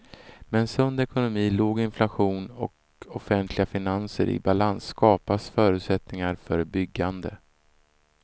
Med en sund ekonomi, låg inflation och offentliga finanser i balans skapas förutsättningar för byggande.